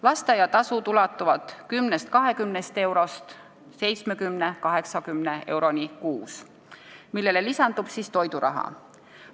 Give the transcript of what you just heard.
Lasteaiatasud ulatuvad 10–20 eurost 70–80 euroni kuus, millele lisandub toiduraha.